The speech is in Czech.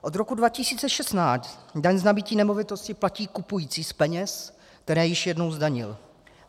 Od roku 2016 daň z nabytí nemovitosti platí kupující z peněz, které již jednou zdanil.